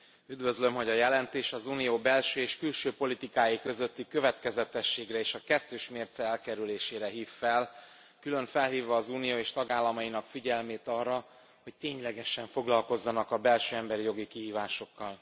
Üdvözlöm, hogy a jelentés az Unió belső és külső politikái közötti következetességre és a kettős mérce elkerülésére hív fel, külön felhívva az Unió és tagállamainak figyelmét arra, hogy ténylegesen foglalkozzanak a belső emberi jogi kihívásokkal.